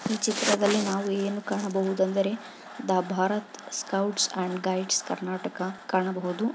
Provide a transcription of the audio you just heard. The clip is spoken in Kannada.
ಈ ಚಿತ್ರದಲ್ಲಿ ನಾವು ಏನು ಕಾಣಬಹುದೆಂದರೆ the Bharat scouts and guides Karnataka ಕಾಣಬಹುದು.